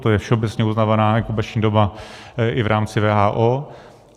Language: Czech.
To je všeobecně uznávaná inkubační doba i v rámci WHO.